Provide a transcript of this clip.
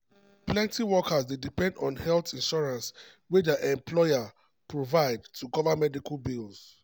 plenty workers dey depend on health insurance wey dia employer provide to cover medical bills.